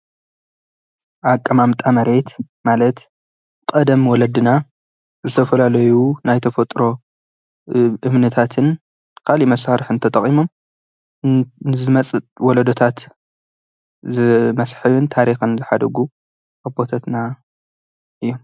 አቀማምጣ መሬት ማለት ቀደም ወለድና ዝተፈላለዩ ናይ ተፈጥሮ እምነታትን ካሊእ መሳሪሒ ተጠቂሞም ንዝመፅእ ወለደታት መስሐቢ ታሪክን ዝሓደጉ አቦታትና እዩ፡፡